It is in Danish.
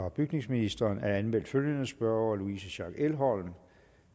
og bygningsministeren er anmeldt følgende spørgere louise schack elholm